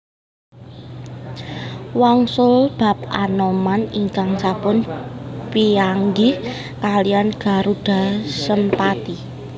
Wangsul bab Anoman ingkang sampun pianggih kaliyan Garudha Sempati